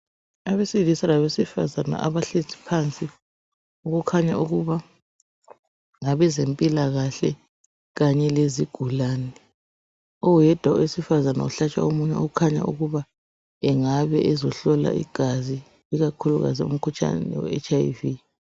Abesilisa labesifazane abahlezi phansi okukhanya ukuba ngabezempilakahle, kanye lezigulane. Oyedwa owesifazane ohlatshwa umunwe okhanya ukuba engabe ezohlola igazi, ikakhulukazi umkhuhlane weHIV.